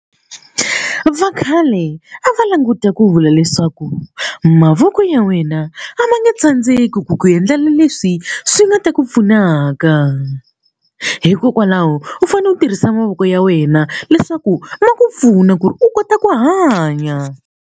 Vakhale a va languta ku vula leswaku mavoko ya wena a ma nge tsandzeki ku ku endlela leswi swi nga ta ku pfunaka hikokwalaho u fanele u tirhisa mavoko ya wena leswaku ma ku pfuna ku ri u kota ku hanya.